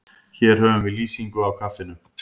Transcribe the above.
Hér höfum við lýsingu á kaffinu.